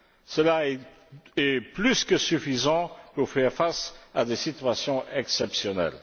Cela est plus que suffisant pour faire face à des situations exceptionnelles.